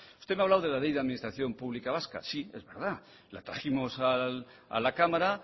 usted me ha hablado de la ley de la administración pública vasca sí es verdad la trajimos a la cámara